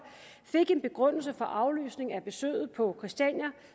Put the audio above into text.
fik en begrundelse for aflysning af besøget på christiania